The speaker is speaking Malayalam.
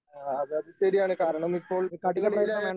ആ അതെ അത് ശരിയാണ് കാരണമിപ്പോൾ കുട്ടികളിലെ